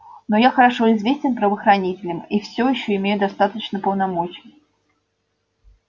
но я хорошо известен правоохранителям и всё ещё имею достаточно полномочий